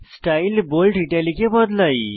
style bold italic এ বদলাই